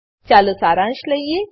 ચાલો સારાંશ લઈએ